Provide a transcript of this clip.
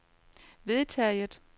vedtaget